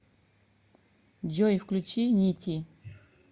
джой включи нити